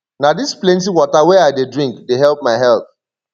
na dis plenty water wey i dey drink dey help my health